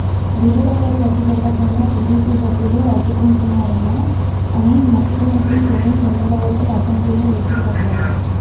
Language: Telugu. బిల్లులపై చర్చ జరగకుండా టీడీపీ సభ్యులు అడ్డుకుంటున్నారని అని ముఖ్యమంత్రి జగన్ చంద్రబాబుపై అసెంబ్లీలో విరుచుకుపడ్డారు